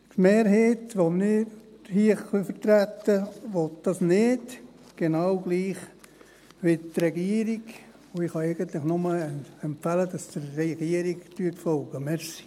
Die Mehrheit, die wir hier vertreten können, will dies nicht, genauso wie die Regierung, und ich kann eigentlich nur empfehlen, dass Sie der Regierung folgen.